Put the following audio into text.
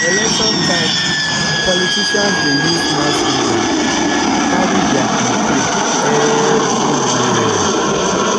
election time politicians dey use mass media carry their campaign everywhere.